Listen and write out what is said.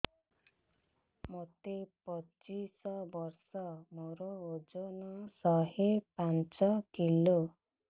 ମୋତେ ପଚିଶି ବର୍ଷ ମୋର ଓଜନ ଶହେ ପାଞ୍ଚ କିଲୋ